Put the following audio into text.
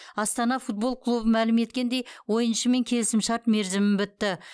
астана футбол клубы мәлім еткендей ойыншымен келісімшарт мерзімі бітті